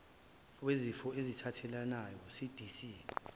wezifo ezithathelanayo cdc